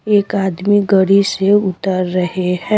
एक आदमी गड़ी से उतर रहे हैं।